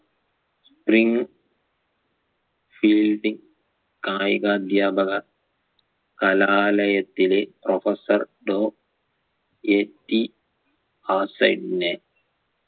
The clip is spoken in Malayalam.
spring fielding കായികധ്യാപക കലാലയത്തിലെ professor ടോ AT ആസൈനിനെ